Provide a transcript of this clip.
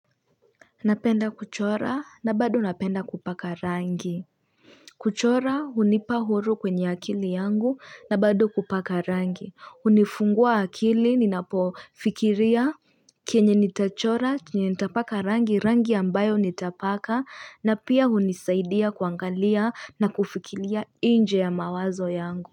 Napenda kuchora na bado napenda kupaka rangi. Kuchora hunipa uhuru kwenye akili yangu na bado kupaka rangi. Hunifungua akili ninapofikiria kenye nitachora, kenye nitapaka rangi, rangi ambayo nitapaka na pia hunisaidia kuangalia na kufikiria nje ya mawazo yangu.